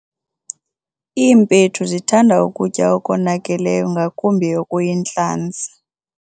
Iimpethu zithanda ukutya okonakeleyo ngakumbi okuyintlanzi.